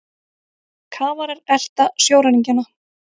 Kafarar elta sjóræningjana